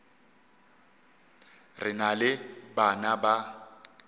re na le bana ba